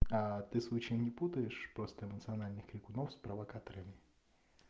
а ты случаем не путаешь просто эмоциональных крикунов с провокаторами